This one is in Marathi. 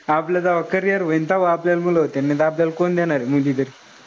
आपलं जव्हा carrier होईन तव्हा आपल्याला मुल होतीन. नाही त आपल्याल कोण देनारे मुलगी तरी.